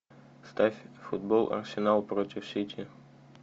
ставь футбол арсенал против сити